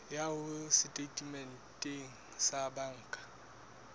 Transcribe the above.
ya hao setatementeng sa banka